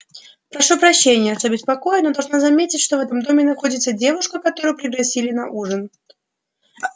прошу прощения что беспокою но должна заметить что в этом доме находится девушка которую пригласили на ужин